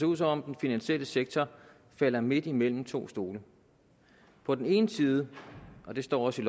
ud som om den finansielle sektor falder midt imellem to stole på den ene side og det står også